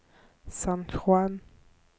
San Juan